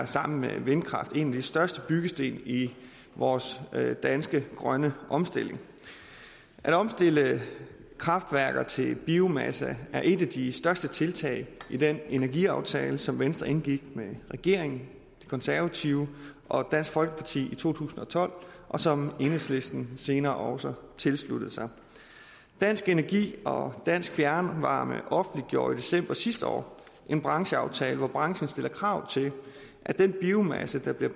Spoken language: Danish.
sammen med vindkraft en af de største byggesten i vores danske grønne omstilling at omstille kraftværker til biomasse er et af de største tiltag i den energiaftale som venstre indgik med regeringen de konservative og dansk folkeparti i to tusind og tolv og som enhedslisten senere også tilsluttede sig dansk energi og dansk fjernvarme offentliggjorde i december sidste år en brancheaftale hvor branchen stiller krav til at den biomasse der bliver